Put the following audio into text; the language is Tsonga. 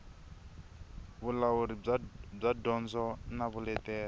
vulawuri bya dyondzo na vuleteri